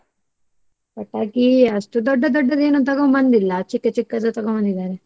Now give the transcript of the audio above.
ಪಟಾಕಿ ಅಷ್ಟು ದೊಡ್ಡ ದೊಡ್ಡದೇನು ತಗೊಂಬಂದಿಲ್ಲಾ ಚಿಕ್ಕ ಚಿಕ್ಕದು ತಗೊಂಬಂದಿದಾರೆ.